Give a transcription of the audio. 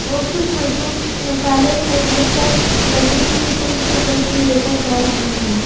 और कुछ मजदूर मसाले को भरकर लकड़ी के पुल पर चढ़ के लेकर जा रहे हैं।